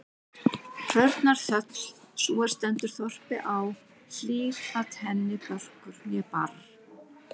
Hrörnar þöll, sú er stendur þorpi á, hlýr-at henni börkur né barr.